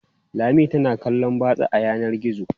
Lami tana kallon batsa a yanar gizo.